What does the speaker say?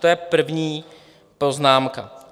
To je první poznámka.